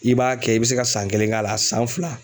I b'a kɛ i bi se ka san kelen k'a la san fila